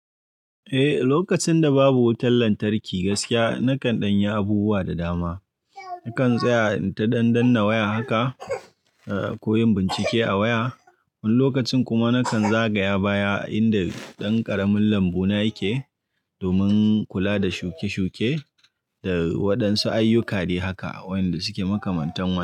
Eh, lokacin da babu wutar lantarki gaskiya nakan ɗanyi abubuwa da dama. Nakan tsaya ita ɗan ɗanna waya haka, eh, koyon bincike a waya. Wani lokacin kuma nakan zagaya baya inda ɗan ƙaramin lambu na yake domin kula da shuke-shuke da waɗansu ayyuka de haka a wanda suke makamantan waya.